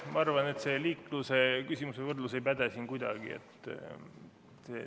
Ma arvan, et see võrdlus liiklusega ei päde siin kuidagi.